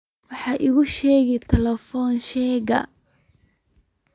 wax iiga sheeg telefiishanka